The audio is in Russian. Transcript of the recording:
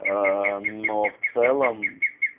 аа но в целом